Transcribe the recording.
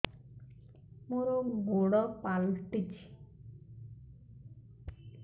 ମୋର ଗୋଡ଼ ପାଲଟିଛି